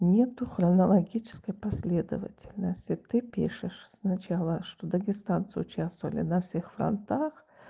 нету хронологической последовательности ты пишешь сначала что дагестанцы участвовали на всех фронтах